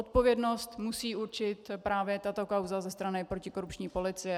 Odpovědnost musí určit právě tato kauza ze strany protikorupční policie.